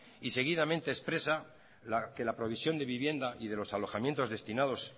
y seguidamente expresa que la provisión de vivienda y de los alojamientos destinados